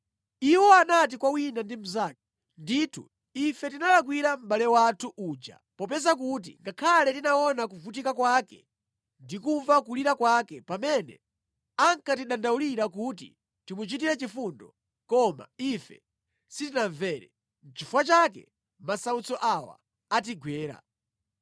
Iwo anati kwa wina ndi mnzake, “Ndithu ife tinalakwira mʼbale wathu uja popeza kuti ngakhale tinaona kuvutika kwake ndi kumva kulira kwake pamene ankatidandaulira kuti timuchitire chifundo, koma ife sitinamvere. Nʼchifukwa chake masautso awa atigwera.”